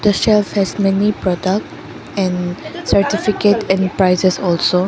the shelf has many product and certificate and prizes also.